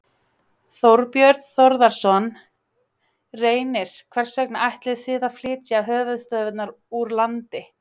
Þorbjörn Þórðarson: Reynir, hvers vegna ætlið þið að flytja höfuðstöðvarnar úr landi?